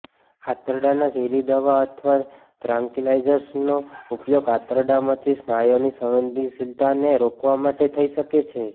આંતરડાના ઝેરી દવા અથવા ત્રાન્કિલાઇઝર્સનો ઉપયોગ આંતરડામાં સ્નાયુઓની સંવેદનશીલતાને રોકવા માટે થઈ શકે છે